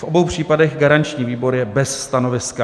V obou případech garanční výbor je bez stanoviska.